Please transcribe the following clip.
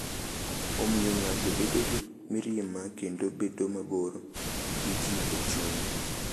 Omiyo ng’ato bedo gi mirima kendo bedo mabor gi ji e chunye.